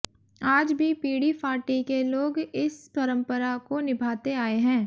आज भी पीणी फाटी के लोग इस परंपरा को निभाते आए हैं